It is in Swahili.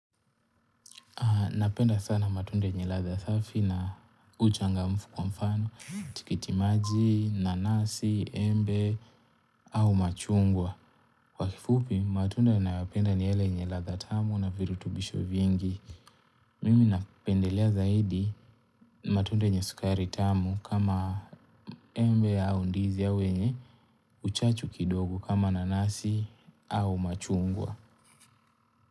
Napenda sana matunda yenye ladha safi na uchangamfu kwa mfano, tikitimaji, nanasi, embe au machungwa. Kwa kifupi, matunda ninayoyapenda ni yale yenye ladha tamu na virutubisho vingi. Mimi napendelea zaidi matunda yenye sukari tamu kama embe au ndizi au yenye, uchachu kidogo kama nanasi au machungwa.